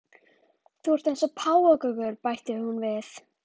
Þú ert að verða eins og páfagaukur, bætir hún við.